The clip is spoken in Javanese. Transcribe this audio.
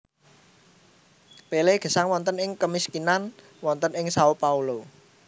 Pelé gesang wonten ing kemiskinan wonten ing Sao Paulo